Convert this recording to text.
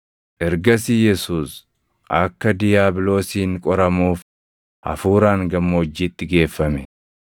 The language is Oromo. Ergasii Yesuus akka diiyaabiloosiin qoramuuf Hafuuraan gammoojjiitti geeffame.